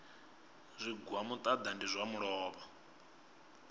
zwigwa muṱaḓa ndi zwa luvhola